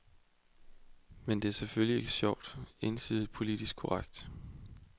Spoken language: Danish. Men det er selvfølgelig ikke sjovt, endsige politisk korrekt.